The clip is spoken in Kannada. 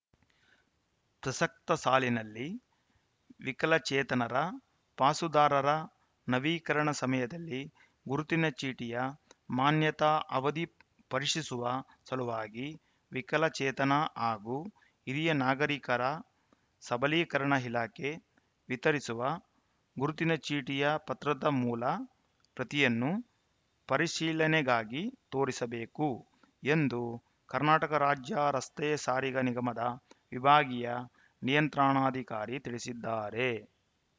ಪ್ರಸಕ್ತ ಸಾಲಿನಲ್ಲಿ ವಿಕಲಚೇತನರ ಪಾಸುದಾರರ ನವೀಕರಣ ಸಮಯದಲ್ಲಿ ಗುರುತಿನ ಚೀಟಿಯ ಮಾನ್ಯತಾ ಅವದಿ ಪರಿಶೀಸುವ ಸಲುವಾಗಿ ವಿಕಲಚೇತನ ಹಾಗೂ ಹಿರಿಯ ನಾಗರಿಕರ ಸಬಲೀಕರಣ ಇಲಾಖೆ ವಿತರಿಸುವ ಗುರುತಿನ ಚೀಟಿಯ ಪತ್ರದ ಮೂಲ ಪ್ರತಿಯನ್ನು ಪರಿಶೀಲನೆಗಾಗಿ ತೋರಿಸಬೇಕು ಎಂದು ಕರ್ನಾಟಕ ರಾಜ್ಯ ರಸ್ತೆ ಸಾರಿಗೆ ನಿಗಮದ ವಿಭಾಗೀಯ ನಿಯಂತ್ರಣಾಧಿಕಾರಿ ತಿಳಿಸಿದ್ದಾರೆ